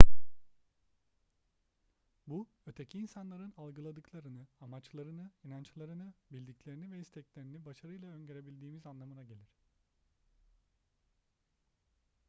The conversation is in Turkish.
bu öteki insanların algıladıklarını amaçlarını inançlarını bildiklerini ve isteklerini başarıyla öngörebildiğimiz anlamına gelir